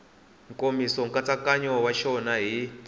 nkomiso nkatsakanyo wa xona hi